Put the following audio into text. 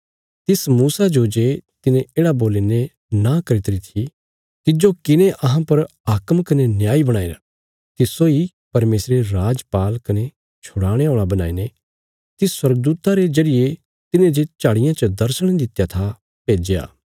तिस मूसा जो जे तिने येढ़ा बोलीने नां करी ती थी तिज्जो किने अहां पर हाकम कने न्यायी बणाईरा तिस्सो इ परमेशरे राजपाल कने छुड़ाणे औल़ा बणाईने तिस स्वर्गदूता रे जरिये तिने जे झाड़िया च दर्शण दित्या था भेज्या